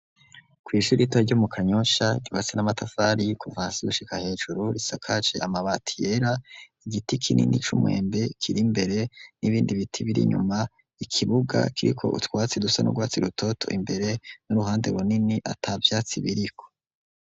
Kw' ishuri ritoya ryo mu Kanyosha, ryubatswe n’ amatafari kuva hasi gushika hejuru, risakajwe amabati yera, igiti kinini c' umwembe kiri imbere, n' ibindi biti biri inyuma, Ikibuga kiriko utwatsi dusa n' urwatsi rutoto imbere, n' uruhande runini atavyatsi biri ho .